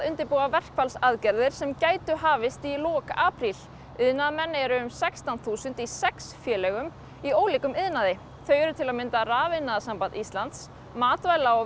undirbúa verkfallsaðgerðir sem gætu hafist í lok apríl iðnaðarmenn eru um sextán þúsund í sex félögum í ólíkum iðnaði þau eru til að mynda Rafiðnaðarsamband Íslands Matvæla og